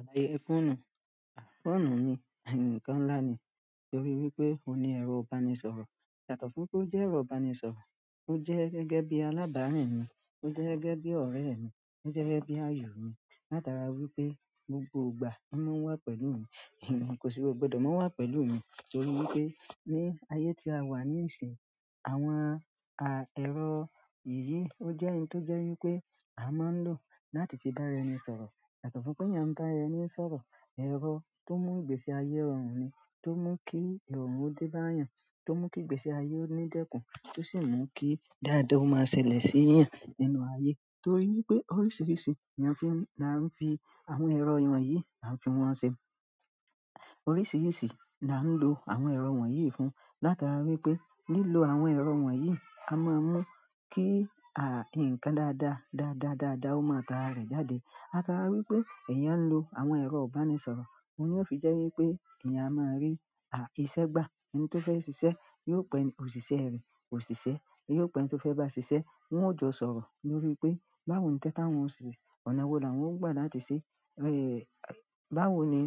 Àdáyé fóònù, fóònù ni ǹkan ńlá ni torí wípé óuní ẹ̀rọ ìbánisọ̀rọ̀. Yàtọ́ fún pé ó jẹ́ ẹ̀rọ ìbánisọ̀rọ̀, ó jẹ́ gẹ́gẹ́ bí alábàárin mi, ó jẹ́ gẹ́gẹ́ bí ọ̀rẹ́ mi, ó jẹ́ gẹ́gẹ́ bí ayọ̀ mi látara wípé gbogbo ìgbà ló máa ń wà pẹ̀lú mi, kò sì o gbọdọ̀ má wà pẹ̀lú mi torí wípé ní ayé tí a wà ní ìsìn, àwọn a, ẹ̀rọ yìí ó jẹ́ n tó jẹ́ wípé a máa ń lò láti fi bá ẹni sọ̀rọ̀. Yàtọ́ fún pé ìyáń n bá ẹni sọ̀rọ̀, ẹ̀rọ tó mú ìgbésí ayé rọrùn nì, tó mú kí irorun ò de bá èèyàn, tó mú kí ìgbésí ayé ó ní dẹ́kun, tó sì mú kí dáadáa ó máa ṣẹlẹ̀ sí èèyàn nínú ayé torí wípé oríṣiríṣi la fin, la ń fi àwọn ẹ̀rọ ìwọ̀n yìí, làn fi wọn ṣe. Oríṣiríṣi là ń lo àwọn ẹ̀rọ ìwọ̀n yìí fún látara wípé lílo àwọn ẹ̀rọ ìwọ̀n yìí a máa mún kí a, ǹkan dáadáa, dáadáa, dáadáa ó máa ta rẹ̀ jáde. A tàrá wípé èèyàn ń lo àwọn ẹ̀rọ ìbánisọ̀rọ̀, òun lóò fi jẹ́ wípé èèyàn a máa rí a, iṣẹ́ gbà. Ẹni tó fẹ́ ṣiṣẹ́ yóò pẹ́ òṣìṣẹ́ rẹ̀, òṣìṣẹ́ yóò pẹ́ ẹni tó fẹ́ bá ṣiṣẹ́ wọn ó jọ sọ̀rọ̀ lórí pé báwo ni iṣẹ́ ta wọn ò ṣe, ọ̀nà wo làwọn ó gbà láti ṣe, ẹ́ẹ̀ báwo ni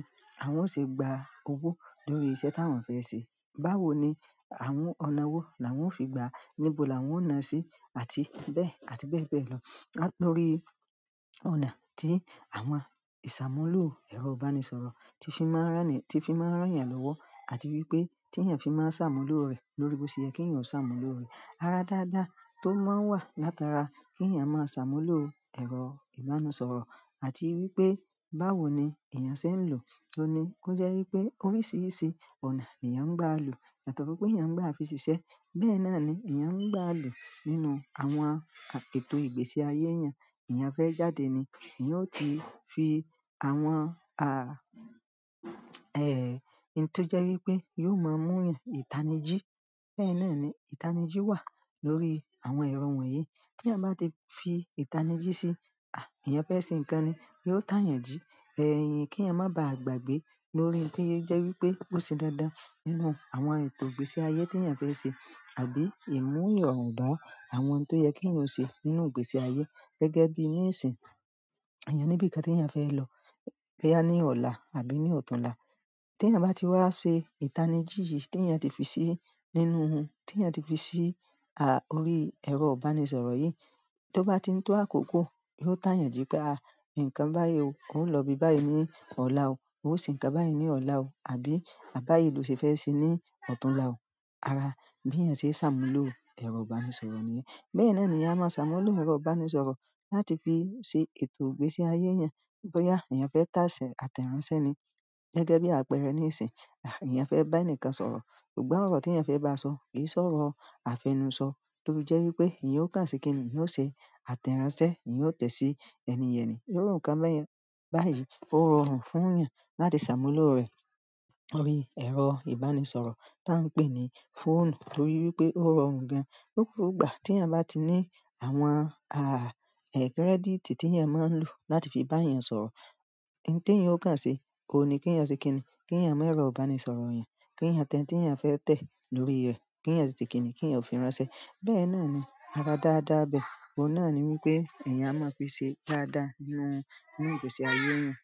àwọn ó ṣe gba owó lórí iṣẹ́ táwọn fẹ́ ṣe. Báwo ni àwọn ọ̀nà wo làwọn ó fi gba, níbo làwọn ó nà sí àti bẹ́ẹ̀ àti bẹ́ẹ̀ bẹ́ẹ̀ lọ. Lórí ọ̀nà tí àwọn ìṣàmúlò ẹ̀rọ ìbánisọ̀rọ̀ tí fi máa ń ránni, tí fi máa ń rán èèyàn lọ́wọ́ àti wípé tí èèyàn fi máa ń ṣàmúlò rẹ̀ lórí bó ṣe kí èèyàn ó ṣàmúlò rẹ̀. Ara dáadáa tó máa ń wà látara kí èèyàn máa ṣàmúlò ẹ̀rọ ìbánisọ̀rọ̀ àti wípé báwo ni èèyàn ṣe ń lò ó ní, kó jẹ́ wípé oríṣiríṣi ọ̀nà èèyàn ń gbà lò. Yàtọ́ fún pé èèyàn ń gbà fi ṣiṣẹ́, bẹ́ẹ̀ náà ni èèyàn ń gbà lò nínú àwọn a, ètò ìgbésí ayé èèyàn. Èèyàn fẹ́ jáde ni, èèyàn ó ti fi àwọn a, ẹ̀ ẹni to jẹ́ wípé yóò máa mú èèyàn ìtanijí. Bẹ́ẹ̀ náà ni ìtanijí wà lórí àwọn ẹ̀rọ ìwọ̀n yìí. Tí èèyàn bá ti fi ìtanijí sí, à èèyàn fẹ́ ṣe ǹkan ni, yóò táyànjú. Ẹ̀yin kí èèyàn má bà gbàgbé lórí tí ó jẹ́ wípé bó ṣe dáadáa nínú àwọn ètò ìgbésí ayé tí èèyàn fẹ́ ṣe àbí ì mú ìrọ̀run bá àwọn ohun tó yẹ kí èèyàn ṣe nínú ìgbésí ayé gẹ́gẹ́ bí ní ìsìn. Eeyan ni ibi kan teyan fe lo boya ni ola àbí ni otunla. Tí èèyàn bá ti wá ṣe ìtanijí yìí tí èèyàn ti fi sí nínú ohun, tí èèyàn ti fi sí a, orí ẹ̀rọ ìbánisọ̀rọ̀ yìí, tó bá ti ń tó àkókò yóò táyànji pé a, ǹkan bá yi o ọ́ ń lọ ibi báyìí ní ọ̀la o, ó ṣe ǹkan báyìí ní ọ̀la o àbí báyìí ló ṣe fẹ́ ṣe ní ọ̀túnla o. Ara bí èèyàn ṣe ṣàmúlò ẹ̀rọ ìbánisọ̀rọ̀ ní. Bẹ́ẹ̀ náà ni èèyàn máa ṣàmúlò ẹ̀rọ ìbánisọ̀rọ̀ láti fi ṣe ètò ìgbésí ayé èèyàn. Boya eeyan fe te ate ránṣẹ́ ni gegebi apere ni isin eeyan fe ba enikan sọ̀rọ̀ ṣùgbọ́n oro ti eeyan fe baso ki se oro afenu so, tò fi je wípé eeyan o ta se kini eeyan o se ate ránṣẹ́ eeyan o te si ẹni ye ni òórùn kan bè yè báyìí, ó rọrùn fún èèyàn láti ṣàmúlò rẹ̀ orí ẹ̀rọ ìbánisọ̀rọ̀ tá ń pè ní fóònù torí wípé ó rọrùn gan. Ọ̀pọ̀lọpọ̀ ìgbà tí èèyàn bá ti ní àwọn a, kírẹ́dìtì tí èèyàn máa ń lò láti fi bá èèyàn sọ̀rọ̀, ohun tí èèyàn ó kàn ṣe ò ní kí èèyàn ṣe kíni, kí èèyàn mu erọ̀ ìbánisọ̀rọ̀ èèyàn, kí èèyàn tẹ n ti èèyàn fẹ́ tẹ̀ lórí rẹ̀, kí èèyàn ṣe kíni kí èèyàn fi ránṣẹ́. Bẹ́ẹ̀ náà ni ara dáadáa bẹ́ẹ̀. Owun noni wípé eeyan a ma fi se dáadáa ni nu ìgbésí aye eeyan.